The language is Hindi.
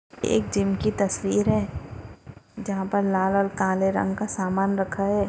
एक जिम की तस्वीर है जहाँ पर काले रंग का सामान रखा है।